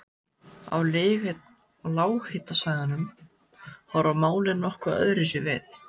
Á lághitasvæðum horfa málin nokkuð öðruvísi við.